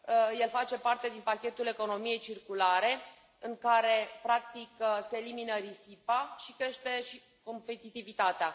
El face parte din pachetul economiei circulare în care, practic, se elimină risipa și crește și competitivitatea.